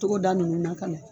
Togoda nunnu na ka na.